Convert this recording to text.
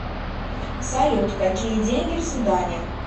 салют какие деньги в судане